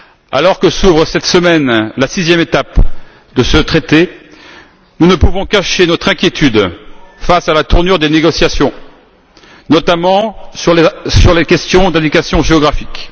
Alors que s'ouvre cette semaine la sixième étape de ce traité, nous ne pouvons cacher notre inquiétude face à la tournure des négociations, notamment sur les questions d'indication géographique.